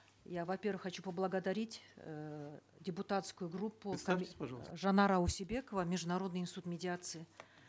я во первых хочу поблагодарить эээ депутатскую группу представьтесь пожалуйста жанара усебекова международный институт медиации